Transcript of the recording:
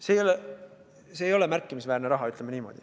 See ei ole märkimisväärne raha, ütleme niimoodi.